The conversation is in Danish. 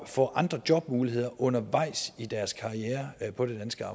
få andre jobmuligheder undervejs i deres karriere på det danske